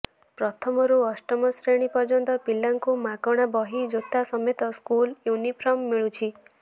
ପ୍ରଥମରୁ ଅଷ୍ଟମ ଶ୍ରେଣୀ ପର୍ଯ୍ୟନ୍ତ ପିଲାଙ୍କୁ ମାଗଣା ବହି ଜୋତା ସମେତ ସ୍କୁଲ ୟୁନିଫର୍ମ ମିଳୁଛି